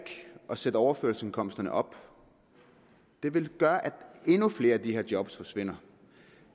at sætte overførselsindkomsterne op det vil gøre at endnu flere af de her job forsvinder